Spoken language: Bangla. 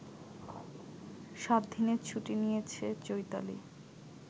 সাতদিনের ছুটি নিয়েছে চৈতালি